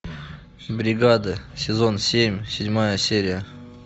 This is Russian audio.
бригада сезон семь седьмая серия